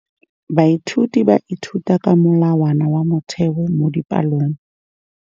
Baithuti ba ithuta ka molawana wa motheo mo dipalong.